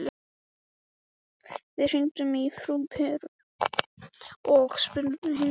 Við hringdum í frú Beru og spurðum hins sama.